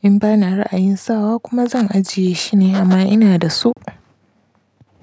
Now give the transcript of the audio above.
in ba na ra'ayin sawa kuma zan ajiye shi ne amma ina da su.